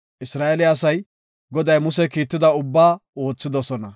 Isra7eele asay Goday Muse kiitida ubbaa oothidosona.